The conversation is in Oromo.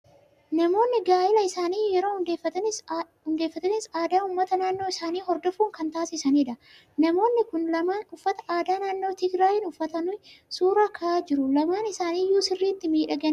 Namoonni gaa'ela isaanii yeroo hundeeffatanis aadaa uummata naannoo isaanii hordofuun kan taasisanidha. Namoonni kun lamaan uffata aadaa naannoo Tigiraayi uffatanii suuraa ka'aa jiru. Lamaan isaanii iyyuu sirriitti miidhaganii ka'aa jiru!